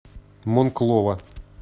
монклова